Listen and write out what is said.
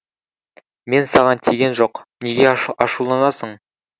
мен саған тиген жоқ неге ашуланасың